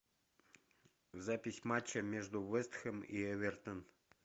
запись матча между вест хэм и эвертон